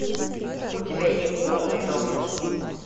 у тебя есть полный дом